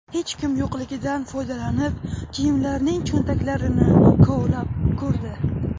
Hech kim yo‘qligidan foydalanib, kiyimlarning cho‘ntaklarini kovlab ko‘rdi.